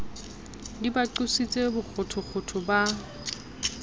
di ba qositse bokgothokgotho ba